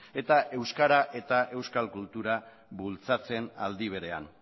eta euskara eta euskal kultura bultzatzen aldi berean